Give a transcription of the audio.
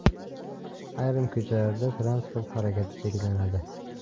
Ayrim ko‘chalarda transport harakati cheklanadi.